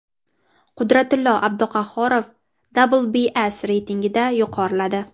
Qudratillo Abduqahhorov WBC reytingida yuqoriladi.